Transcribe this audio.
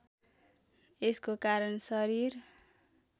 यसको कारण शरीर